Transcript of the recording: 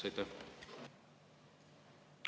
Teie küsimus!